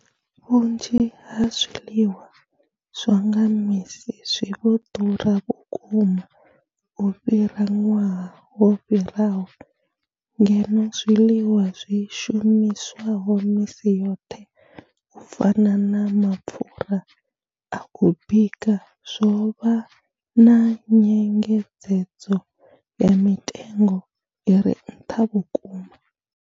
Vhunzhi ha zwiḽiwa zwa nga misi zwi vho ḓura vhukuma u fhira ṅwaha wo fhiraho, ngeno zwiḽiwa zwi shumiswaho misi yoṱhe u fana na mapfhura a u bika zwo vha na nyengedzedzo ya mitengo i re nṱha vhukuma.